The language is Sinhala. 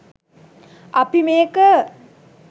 අපි මේක